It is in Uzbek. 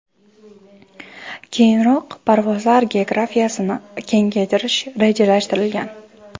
Keyinroq parvozlar geografiyasini kengaytirish rejalashtirilgan.